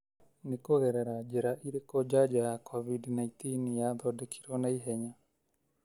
Nĩ kũgerera njĩra ĩrĩkũ njanjo ya Covid-19 yathondekirwo naihenya?